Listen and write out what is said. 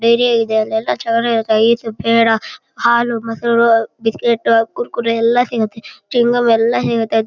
ಧೈರ್ಯ ಇದೆ ಅಲ್ಲೆಲ್ಲ ಐಸ್ ಪೇಡ ಹಾಲು ಮೊಸರು ಬಿಸ್ಕೆಟ್ ಕುರ್ಕುರೆ ಎಲ್ಲ ಸಿಗುತ್ತೆ ಚಿಂಗಂ ಎಲ್ಲ ಸಿಗುತ್ತೆ.